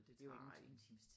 Det er jo ingenting